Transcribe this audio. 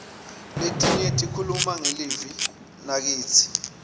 letinye tikhuluma ngelive nakitsi